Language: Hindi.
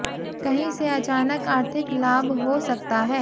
कहीं से अचानक आर्थिक लाभ हो सकता है